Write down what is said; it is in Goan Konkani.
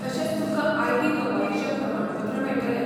तशेंच तुमकां आय.टी कपातीचें प्रमाणपत्रय मेळटलें.